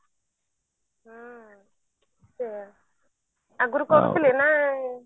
ହୁଁ ସେଇଆ ଆଗୁରୁ କରୁଥିଲେ ନା